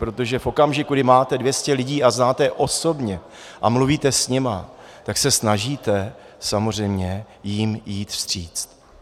Protože v okamžiku, kdy máte 200 lidí a znáte je osobně a mluvíte s nimi, tak se snažíte samozřejmě jim vyjít vstříc.